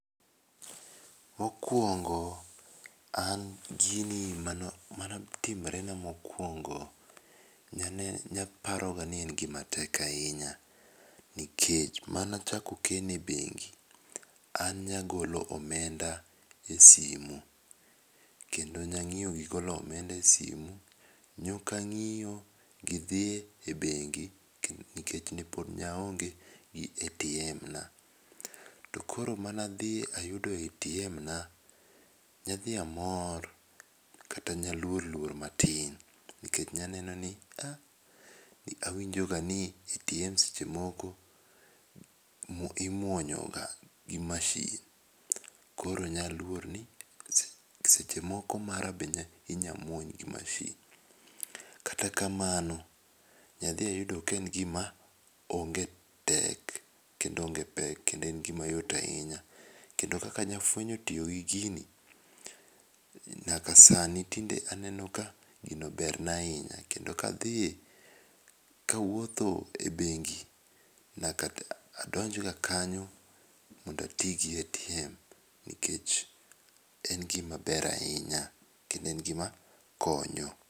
Mokwongo an gini manotimorena mokwongo ne aparoga ni en gima tek ahinya. Nikech mane achako keno e bengi an nagolo omenda e simo. Kendo nang'iyo go golo omenda e simu. Nok ang'iyo gi dhi e bengi nikech ne pod aonge gi ATM na. To koro mane adhi ayudo ATM na, ne adhi amor kata ne aluor luor matin. Nikech ne aneno ni a ne awinjo ga ni ATMs seche moko imuonyo ga gi masin. Koro ne aluor ni seche moko mara be inya muony gi masin. Kata kamano ne adhi ayudo ka en gima onge tek kendo onge pek kendo en gima yot ahinya. Kendo kaka ne afuenyo tiyo gi gini, nyaka sani tinde aneno ka gino ber na ahinya. Kendo ka adhiye ka awuotho e bengi nyaka to adonj ga kanyo mondo ati gi ATM nikech en gima ber ahinya kendo en gima konyo.